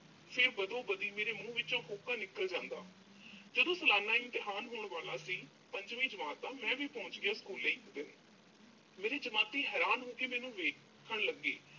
ਫਿਰ ਬਦੋਬਦੀ ਮੇਰੇ ਮੂੰਹ ਵਿੱਚੋਂ ਹੋਕਾ ਨਿਕਲ ਜਾਂਦਾ। ਜਦੋਂ ਸਲਾਨਾ ਇਮਤਿਹਾਨ ਹੋਣ ਵਾਲਾ ਸੀ, ਪੰਜਵੀਂ ਜਮਾਤ ਦਾ। ਮੈਂ ਵੀ ਪਹੁੰਚ ਗਿਆ school ਇੱਕ ਦਿਨ। ਮੇਰੇ ਜਮਾਤੀ ਹੈਰਾਨ ਹੋ ਕੇ ਮੈਨੂੰ ਵੇਖਣ ਲੱਗੇ।